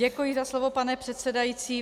Děkuji za slovo, pane předsedající.